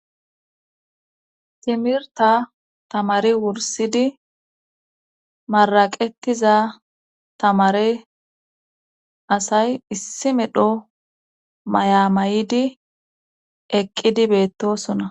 timirta tamari wursidi maraqettiza tamare asay issi medho mayamayidi eqqidi beettosona